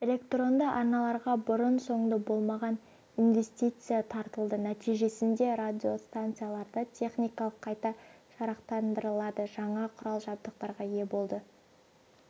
электронды арналарға бұрын-соңды болмаған инвестиция тартылды нәтижесінде радиостанциялар да техникалық қайта жарақтандырылды жаңа құрал-жабдықтарға ие болды